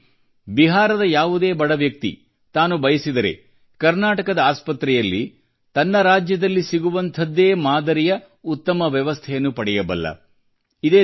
ಇದರಲ್ಲಿ ಬಿಹಾರದ ಯಾವುದೇ ಬಡ ವ್ಯಕ್ತಿ ತಾನು ಬಯಸಿದರೆ ಕರ್ನಾಟಕದ ಆಸ್ಪತ್ರೆಯಲ್ಲಿ ತನ್ನ ರಾಜ್ಯದಲ್ಲಿ ಸಿಗುವಂಥದ್ದೇ ಮಾದರಿಯ ಉತ್ತಮ ವ್ಯವಸ್ಥೆಯನ್ನು ಪಡೆಯಬಲ್ಲ